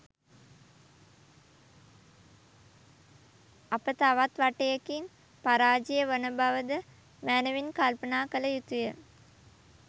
අප තවත් වටයකින් පරාජය වන බව ද මැනවින් කල්පනා කළ යුතුය.